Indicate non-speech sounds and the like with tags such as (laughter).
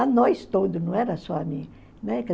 A nós todos, não era só a mim, né (unintelligible)